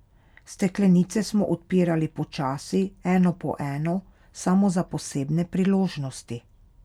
Steklenice smo odpirali počasi, eno po eno, samo za posebne priložnosti.